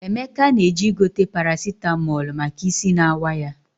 Emeka na-eje igote parasitamọlụ maka isi na-awa ya.